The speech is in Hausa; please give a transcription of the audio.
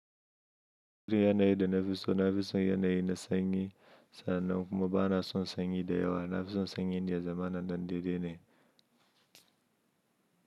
Duk yanayi da na fi so, na fi son yanayi na sanyi sannan kuma ba na son sanyi da yawa. Na fi son sanyi na zamana ɗan dai-dai ne.